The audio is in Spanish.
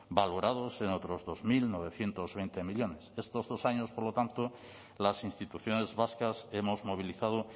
valorados en otros dos mil novecientos veinte millónes estos dos años por lo tanto las instituciones vascas hemos movilizado